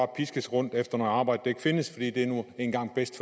piskes rundt efter noget arbejde der ikke findes fordi det nu engang er bedst